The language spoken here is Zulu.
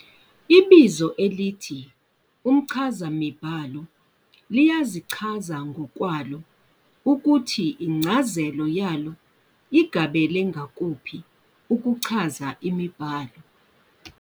Ibizo elithi umchazamibhalo liyazichazanngokwalo ukuthi incazelo yalo igabele ngakuphi, ukuchaza imibhalo.